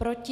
Proti?